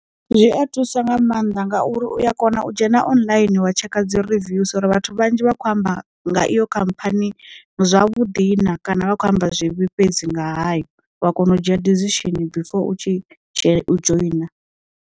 Zwi a thusa nga maanḓa ngauri uya kona u dzhena online wa tshekha dzi rivews uri vhathu vhanzhi vha khou amba nga iyo khamphani zwa vhuḓi na, kana vha kho amba zwivhi fhedzi nga hayo wa kona u dzhia dizishini before u tshi dzhena u dzhoina.